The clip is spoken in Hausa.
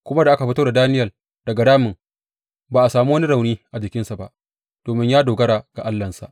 Kuma da aka fito da Daniyel daga ramin, ba a sami wani rauni a jikinsa ba, domin ya dogara ga Allahnsa.